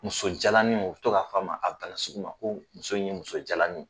Muso jalaninw. U be to ka f'a ma, a bana sugu ma ko muso in ye muso jalanin